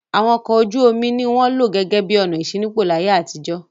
Àwọn ọkọ̀ ojú-omi ni wọ́n lò gẹ́gẹ́ bí ọ̀nà ìṣínípò láyé àtijọ́.